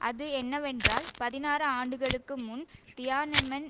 அது என்னவென்றால் பதினாறு ஆண்டுகளுக்கு முன் தியானெமென்